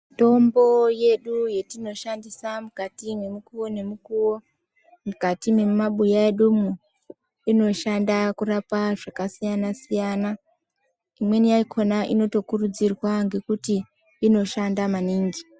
Mitombo yedu yetinoshandisa mukati memukowo nemukuwo mukati memumabuya medumo inoshanda kurapa zvakasiyana siyana, imweni yakhona inotokuridzirwa ngekuti inoshanda maningi .